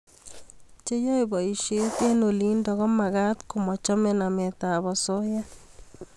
Che yae boishet eng' olindok ko magat ko machame namet ab asoya